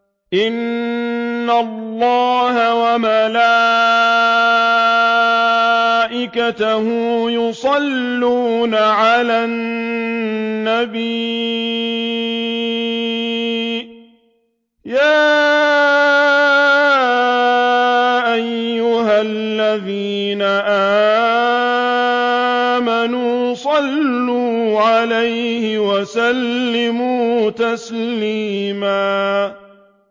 إِنَّ اللَّهَ وَمَلَائِكَتَهُ يُصَلُّونَ عَلَى النَّبِيِّ ۚ يَا أَيُّهَا الَّذِينَ آمَنُوا صَلُّوا عَلَيْهِ وَسَلِّمُوا تَسْلِيمًا